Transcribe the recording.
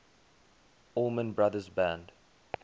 allman brothers band